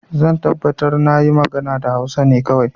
Zan tabbatar na yi magana da Hausa ne kawai.